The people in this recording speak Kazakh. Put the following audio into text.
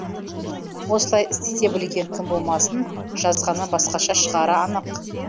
осылай істете білген кім болмасын жазғаны басқаша шығары анық